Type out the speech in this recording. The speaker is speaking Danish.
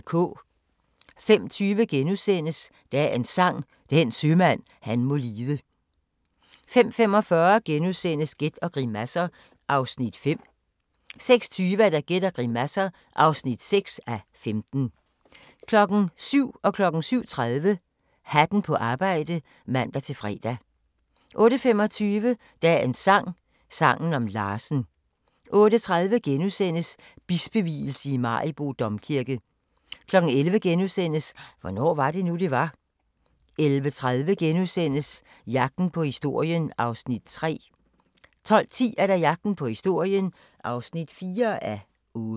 05:20: Dagens Sang: Den sømand han må lide * 05:45: Gæt og grimasser (5:15)* 06:20: Gæt og grimasser (6:15) 07:00: Hatten på arbejde (man-fre) 07:30: Hatten på arbejde (man-fre) 08:25: Dagens sang: Sangen om Larsen 08:30: Bispevielse i Maribo Domkirke * 11:00: Hvornår var det nu, det var? * 11:30: Jagten på historien (3:8)* 12:10: Jagten på historien (4:8)